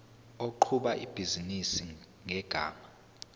oqhuba ibhizinisi ngegama